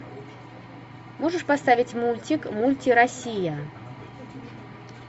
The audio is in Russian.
можешь поставить мультик мульти россия